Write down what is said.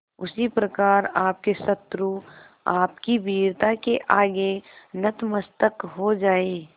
उसी प्रकार आपके शत्रु आपकी वीरता के आगे नतमस्तक हो जाएं